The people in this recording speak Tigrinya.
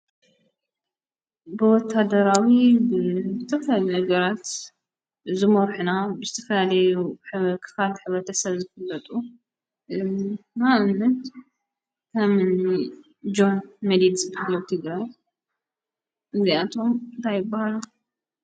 ብወታደራዊ ብብተፍል ነገራት ዝሞርሕና ብስቲፈልዩ ክኻል ኅበተሰብ ዝፍበጡ ማእምት ተምኒ ጃን መዲት ዝበልትይግረ እዚኣቶም ታይብሃሉ"?